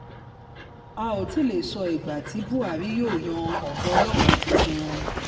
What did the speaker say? a ó tì í lè sọ ìgbà tí buhari yóò yan ọ̀gá ọlọ́pàá tuntun